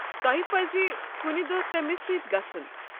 تۄہہ پزِ کُنہِ دۄہ تٔمِس سۭتۍ گژھُن۔